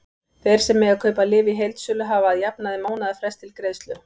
Þeir sem mega kaupa lyf í heildsölu hafa að jafnaði mánaðarfrest til greiðslu.